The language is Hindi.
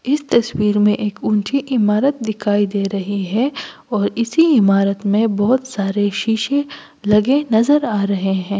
इस तस्वीर में एक ऊंची इमारत दिखाई दे रही है और इसी इमारत में बहुत सारे शीशे लगे नज़र आ रहे हैं।